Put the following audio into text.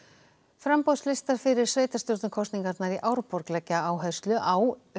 framboðslistar fyrir sveitarstjórnarkosningarnar í Árborg leggja áherslu á